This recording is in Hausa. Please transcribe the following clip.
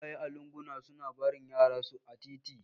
Iyaye a lunguna suna barin yaran su a titi